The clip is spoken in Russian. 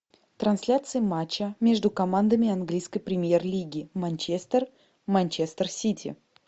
трансляция матча между командами английской премьер лиги манчестер манчестер сити